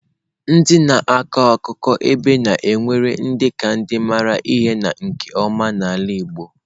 Ndị na-akọ akụkọ ebe a na-ewere dị ka ndị maara ihe na nke ọma n'ala igbo.